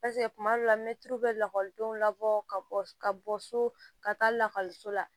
Paseke kuma dɔ la mɛtiriw bɛ lakɔlidenw labɔ ka bɔ ka bɔ so ka taa lakɔliso la